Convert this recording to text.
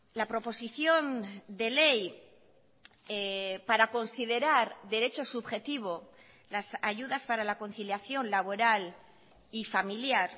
la proposición de ley para considerar derecho subjetivo las ayudas para la conciliación laboral y familiar